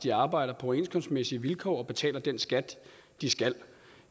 de arbejder på overenskomstmæssige vilkår og betaler den skat de skal